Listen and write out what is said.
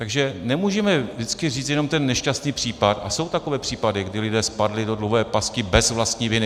Takže nemůžeme vždycky říct jenom ten nešťastný případ, a jsou takové případy, kdy lidé spadli do dluhové pasti bez vlastní viny.